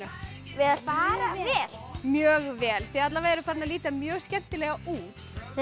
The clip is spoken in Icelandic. vel bara vel mjög vel þið alla vega eruð farin að líta mjög skemmtilega út